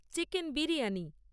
chicken biryani